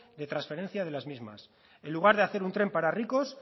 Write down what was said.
de transferencia de las mismas en lugar de hacer un tren para ricos